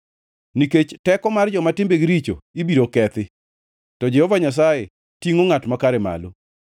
nikech teko mar joma timbegi richo ibiro kethi, to Jehova Nyasaye tingʼo ngʼat makare malo.